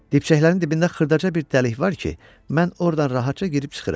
Dibçəklərin dibində xırdaca bir dəlik var ki, mən ordan rahatca girib çıxıram.